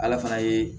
Ala fana ye